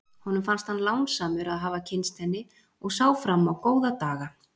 Honum fannst hann lánsamur að hafa kynnst henni og sá fram á góða daga.